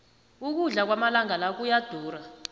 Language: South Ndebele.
ukudla kwamalanga la kuyadura